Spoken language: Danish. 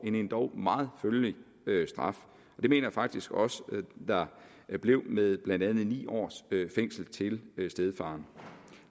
en endog meget følelig straf jeg mener faktisk også at der blev med blandt andet ni års fængsel til stedfaren